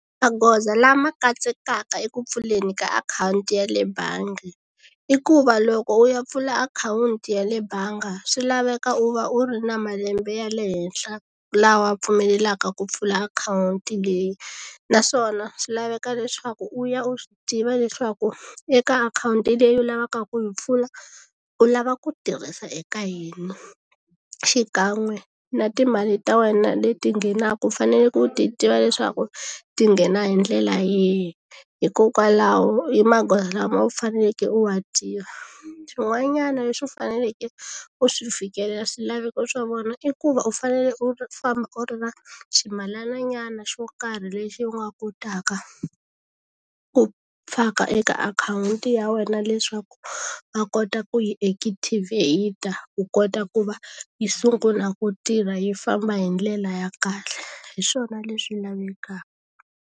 Magoza lama katsekaka eku pfuleni ka akhawunti ya le bangi i ku va loko u ya pfula akhawunti ya le bangi swi laveka u va u ri na malembe ya le henhla lawa pfumelelaka ku pfula akhawunti leyi naswona swi laveka leswaku u ya u swi tiva leswaku eka akhawunti leyi u lavaka ku yi pfula u lava ku tirhisa eka yina xikan'we na timali ta wena leti nghenaka u faneleke u ti tiva leswaku ti nghena hi ndlela yihi hikokwalaho i magoza lama u faneleke u wa tiva xin'wanyana lexi u faneleke u swi fikelela swilaveko swa vona i ku va u fanele u famba u ri na swimalananyana xo karhi lexi u nga kotaka ku faka eka akhawunti ya wena leswaku va kota ku yi ekithivheyita ku kota ku va yi sungula ku tirha yi famba hi ndlela ya kahle hi swona leswi lavekaka.